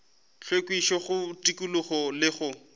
hlwekišo go tikologo le go